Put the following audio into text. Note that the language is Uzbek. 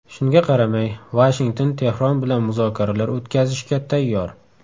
Shunga qaramay, Vashington Tehron bilan muzokaralar o‘tkazishga tayyor.